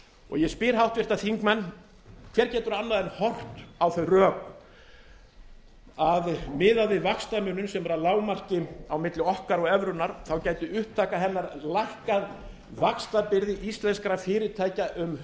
ég spyr háttvirtir þingmenn hver getur annað en horft á þau rök að miðað við vaxtamuninn sem er að lágmarki milli okkar og evrunnar gæti upptaka hennar lækkað vaxtabyrði íslenskra fyrirtækja um